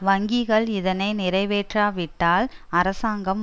வங்கிகள் இதனை நிறைவேற்றாவிட்டால் அரசாங்கம்